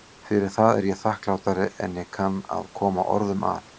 Fyrir það er ég þakklátari en ég kann að koma orðum að.